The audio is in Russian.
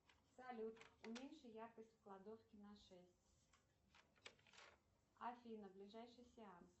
салют уменьши яркость в кладовке на шесть афина ближайший сеанс